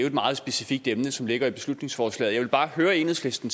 et meget specifikt emne som ligger i beslutningsforslaget jeg vil bare høre enhedslisten